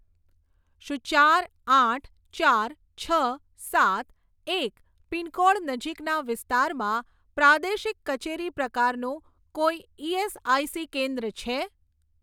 શું ચાર આઠ ચાર છ સાત એક પિનકોડ નજીકના વિસ્તારમાં પ્રાદેશિક કચેરી પ્રકારનું કોઈ ઇએસઆઇસી કેન્દ્ર છે?